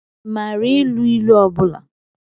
Ị maara ilu ilu ọ bụla?